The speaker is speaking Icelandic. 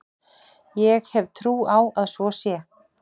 Ég hef trú á að svo sé.